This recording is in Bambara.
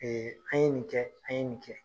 Ee an ye nin kɛ , an ye nin kɛ.